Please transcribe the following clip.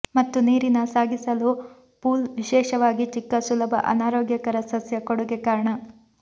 ಮತ್ತು ನೀರಿನ ಸಾಗಿಸಲು ಪೂಲ್ ವಿಶೇಷವಾಗಿ ಚಿಕ್ಕ ಸುಲಭ ಅನಾರೋಗ್ಯಕರ ಸಸ್ಯ ಕೊಡುಗೆ ಕಾರಣ